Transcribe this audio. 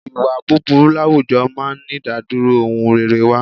Ìwà búburú láwùjọ máa ń ìdádúró ohun rere wá.